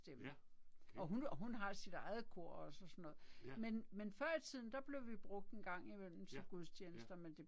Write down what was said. Ja, okay. Ja. Ja, ja